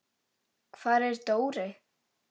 Hvar er Dóri?